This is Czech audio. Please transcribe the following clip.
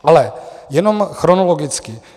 Ale jenom chronologicky.